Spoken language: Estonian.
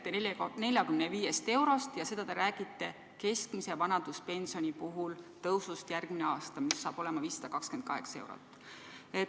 Teie räägite 45 eurost, ja seda te räägite keskmise vanaduspensioni puhul, mis saab olema järgmisel aastal 528 eurot.